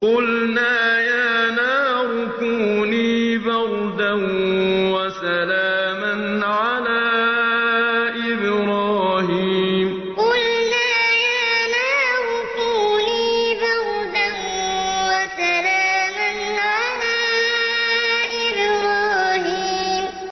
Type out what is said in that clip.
قُلْنَا يَا نَارُ كُونِي بَرْدًا وَسَلَامًا عَلَىٰ إِبْرَاهِيمَ قُلْنَا يَا نَارُ كُونِي بَرْدًا وَسَلَامًا عَلَىٰ إِبْرَاهِيمَ